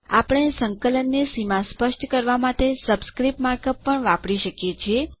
આપણે સંકલન ની સીમા સ્પષ્ટ કરવાં માટે સબસ્ક્રિપ્ટ માર્ક અપ પણ વાપરી શકીએ છીએ